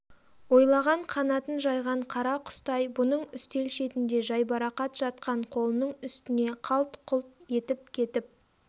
ойлаған қанатын жайған қара құстай бұның үстел шетінде жайбарақат жатқан қолының үстіне қалт-құлт етіп кетіп